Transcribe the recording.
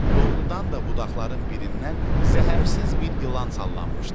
Doğrudan da budaqların birindən zəhərsiz bir ilan sallanmışdı.